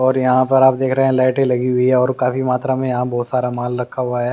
और यहाँ पर आप देख रहे हैं लाइटें लगी हुई है और काफी मात्रा में यहाँ बहुत सारा माल रखा हुआ है।